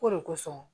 K'o de kosɔn